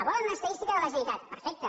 volen una estadística de la generalitat perfecte